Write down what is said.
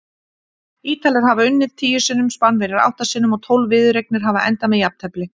Ítalir hafa unnið tíu sinnum, Spánverjar átta sinnum og tólf viðureignir hafa endað með jafntefli.